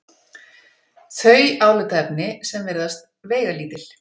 þau álitaefni sem virðast veigalítil.